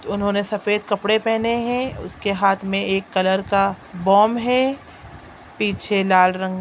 उन्होंने सफेद कपड़े पहने हैं उसके हाथ में एक कलर का बोम है पीछे लाल रंग--